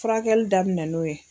Furakɛli daminɛ n'o ye.